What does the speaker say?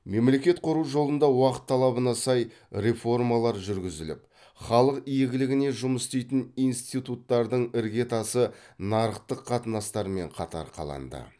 мемлекет құру жолында уақыт талабына сай реформалар жүргізіліп халық игілігіне жұмыс істейтін институттардың ірге тасы нарықтық қатынастармен қатар қаланды